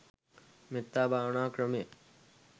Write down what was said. මෙත්තා භාවනා ක්‍රමය